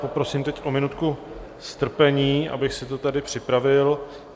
Poprosím teď o minutku strpení, abych si to tady připravil.